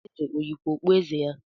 Eze ọ yikwa okpueze ya?